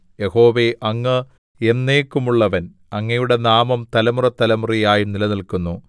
യഹോവേ അങ്ങ് എന്നേക്കുമുള്ളവൻ അങ്ങയുടെ നാമം തലമുറതലമുറയായി നിലനില്ക്കുന്നു